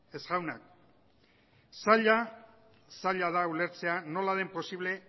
ez jaunak zaila da ulertzea nola den posible